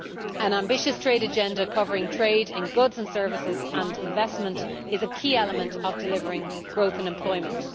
An ambitious trade agenda, covering trade in goods and services and investment, is a key element in delivering growth and employment.